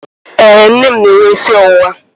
Ee, nne m na-enwe isi ọwụwa.